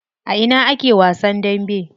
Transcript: A ina ake wasan dambe?